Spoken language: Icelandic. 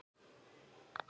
spurðu menn.